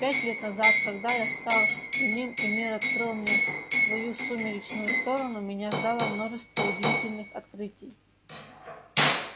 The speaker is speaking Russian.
пять лет назад когда я стал иным и мир открыл мне свою сумеречную сторону меня ждало множество удивительных открытий